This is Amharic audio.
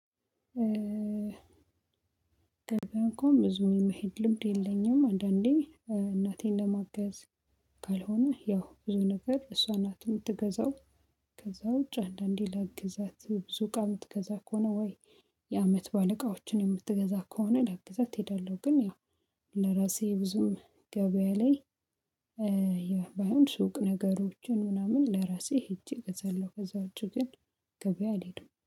ገበያ እንኳን ብዙም የመሄድ ልምድ የለኝም። አንዳንዴ እናቴን ለማገዝ ካልሆነ ያው ብዙ ነገር እሷ ናት የምትገዛው። ከዛ ውጪ አንዳንዴ ላግዛት ብዙ እቃ የምትገዛ ከሆነ ወይ የአመት በዓል እቃዎችን የምትገዛ ከሆነ ላግዛት እሄዳለሁ። ግን ያው ለራሴ ብዙም ገበያ ላይ ያ ባይሆን ሱቅ ነገሮችን ምናምን ለራሴ ሄጄ እገዛለሁ ከዚያ ውጪ ግን ገበያ አልሄድም